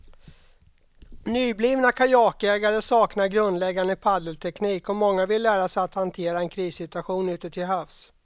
Nyblivna kajakägare saknar grundläggande paddelteknik och många vill lära sig att hantera en krissituation ute till havs.